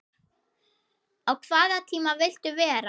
á hvaða tíma viltu vera?